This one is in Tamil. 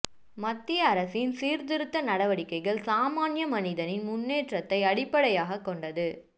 மத்திய அரசின் சீர்திருத்த நடவடிக்கைகள் சாமான்ய மனிதனின் முன்னேற்றத்தை அடிப்படையாக கொண்டது